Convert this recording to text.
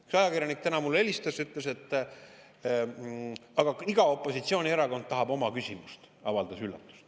Üks ajakirjanik helistas mulle täna ja avaldas üllatust, et iga opositsioonierakond tahab oma küsimust.